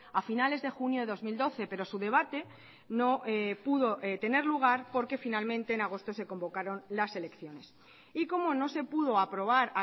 a finales de junio de dos mil doce pero su debate no pudo tener lugar porque finalmente en agosto se convocaron las elecciones y como no se pudo aprobar